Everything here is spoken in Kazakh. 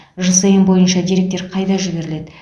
жсн бойынша деректер қайда жіберіледі